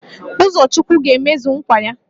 Uzochukwu ga-emezu nkwa ya